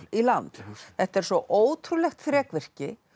í land þetta er svo ótrúlegt þrekvirki